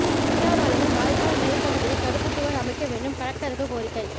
பில்லா பாளையம் வாய்க்கால் மேல்பகுதியில் தடுப்பு சுவர் அமைக்க வேண்டும் கலெக்டருக்கு கோரிக்கை